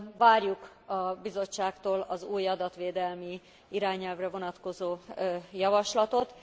Várjuk a Bizottságtól az új adatvédelmi irányelvre vonatkozó javaslatot.